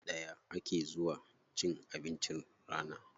A lokaci ɗaya ake zuwa cin abincin rana.